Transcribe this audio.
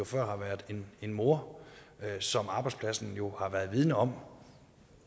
før har været en mor som arbejdspladsen jo har været vidende om